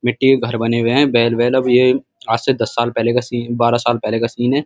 मिट्टी के घर बने हुए हैं। अब ये आज से दस साल पहले बारह साल पहले का सीन है।